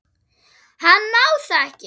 Hann má það ekki.